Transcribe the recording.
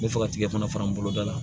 N bɛ fɛ ka tigɛ fana fara n boloda la